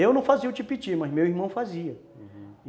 Eu não fazia o Tipiti, mas meu irmão fazia, uhum